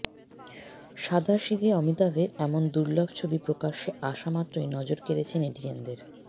সাধাসিধে অমিতাভের এমন দুলর্ভ ছবি প্রকাশ্যে আসা মাত্রই নজর কেড়েছে নেটিজেনদের